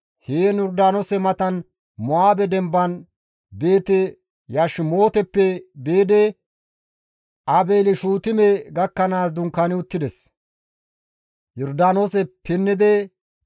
Heen Yordaanoose matan Mo7aabe demban Beeti-Yashimooteppe biidi Aabeeli-Shuutime gakkanaas dunkaani uttides.